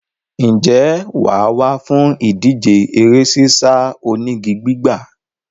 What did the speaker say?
Ǹjẹ́ wà á wá fún ìdíje eré sísá onígi gbígbà?